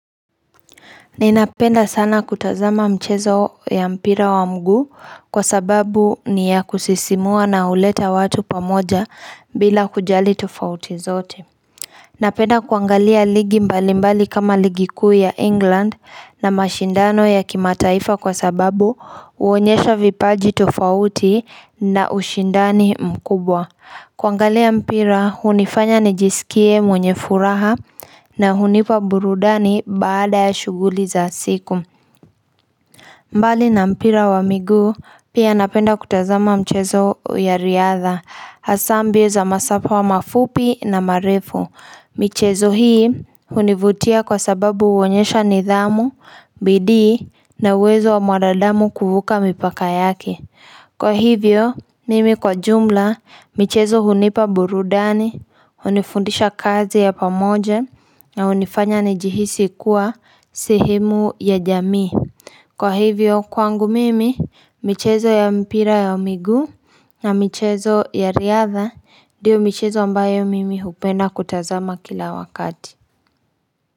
Ninapenda sana kutazama mchezo ya mpira wa mguu kwa sababu ni ya kusisimua na uleta watu pamoja bila kujali tofauti zote. Napenda kuangalia ligi mbali mbali kama ligi kuu ya England na mashindano ya kimataifa kwa sababu uonyesha vipaji tofauti na ushindani mkubwa. Kuangalia mpira, hunifanya nijisikie mwenye furaha na hunipa burudani baada ya shughuli za siku. Mbali na mpira wa miguu, pia napenda kutazama mchezo ya riadha, hasa mbio za masafa mafupi na marefu. Michezo hii hunivutia kwa sababu uonyesha nidhamu, bidii na uwezo wa mwanadamu kuvuka mipaka yake Kwa hivyo, mimi kwa jumla, michezo hunipa burudani, hunifundisha kazi ya pamoja, na unifanya nijihisi kuwa sehemu ya jamii. Kwa hivyo, kwangu mimi, michezo ya mpira ya miguu na michezo ya riadha, ndiyo michezo ambayo mimi hupenda kutazama kila wakati.